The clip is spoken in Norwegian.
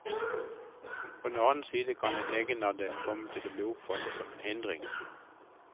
På den annen side kan en egenandel komme til å bli oppfattet som en hindring.